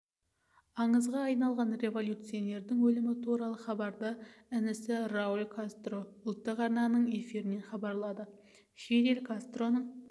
аңызға айналған революционердің өлімі туралы хабарды інісі рауль кастро ұлттық арнаның эфирінен хабарлады фидель кастроның